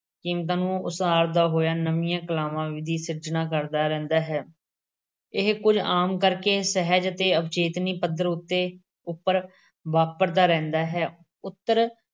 ਕੀਮਤਾਂ ਨੂੰ ਉਸਾਰਦਾ ਹੋਇਆ ਨਵੀਂਆਂ ਕਲਾਵਾਂ ਦੀ ਸਿਰਜਣਾ ਕਰਦਾ ਰਹਿੰਦਾ ਹੈ। ਇਹ ਕੁਝ ਆਮ ਕਰਕੇ ਸਹਿਜ ਅਤੇ ਅਵਚੇਤਨੀ ਪੱਧਰ ਉੱਪਰ ਵਾਪਰਦਾ ਰਹਿੰਦਾ ਹੈ। ਉੱਤਰ-